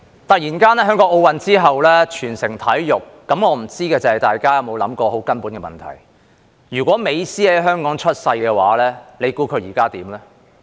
突然間，在奧林匹克運動會之後，香港全城體育，我不知道大家有否想過一個很根本的問題：如果美斯在香港出生，你猜他現在會怎樣？